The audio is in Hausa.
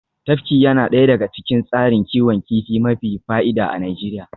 Tafki yana daya daga cikin tsarin kiwon kifi mafi fa'ida a Najeriya